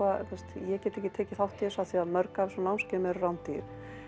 ég get ekki tekið þátt í þessu af því mörg af þessum námskeiðum eru rándýr